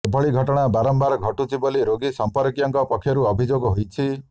ଏଭଳି ଘଟଣା ବାରମ୍ବାର ଘଟୁଛି ବୋଲି ରୋଗୀ ସଂପର୍କୀୟଙ୍କ ପକ୍ଷରୁ ଅଭିଯୋଗ ହୋଇଛି